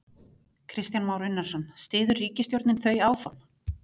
Kristján Már Unnarsson: Styður ríkisstjórnin þau áform?